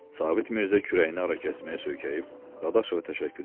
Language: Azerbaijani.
Sabit Mirzə kürəyini arakesməyə söykəyib Dadaşova təşəkkür eləyin.